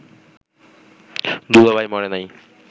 দুলাভাই মরে নাই